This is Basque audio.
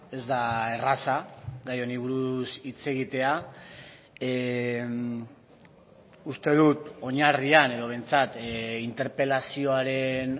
ez da erraza gai honi buruz hitz egitea uste dut oinarrian edo behintzat interpelazioaren